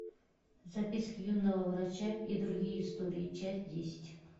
записки юного врача и другие истории часть десять